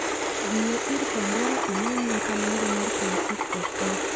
dhiyo ir pandora imany nyakalondo mar classic fm